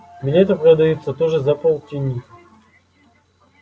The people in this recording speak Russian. билеты продаются тоже за полтинник